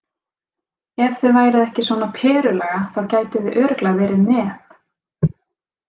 Ef þið væruð ekki svona Perulaga þá gætuð þið örugglega verið með.